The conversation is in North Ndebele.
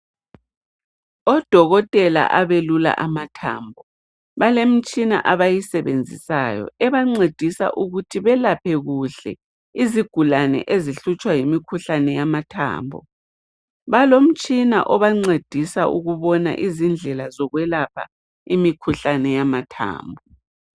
Odokotela abelula amathambo balemtshina abazisebenzisayo ebancedisa ukutbelaphe kuhle izigulane ezihlutshwa yimikhuhlani yamathambo balemtshina ebancedisa ukubona izindlela zokwelapha imikhuhlane yamathambo